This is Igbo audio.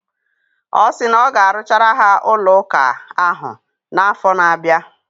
Ọ sị na ọ ga-arụchara ha ụlọụka ahụ n' afọ na-abịa.